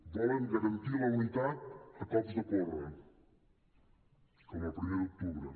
volen garantir la unitat a cops de porra com el primer d’octubre